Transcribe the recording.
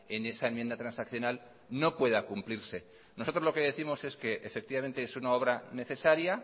en esa enmienda transaccional no pueda cumplirse nosotros lo que décimos es que efectivamente es una obra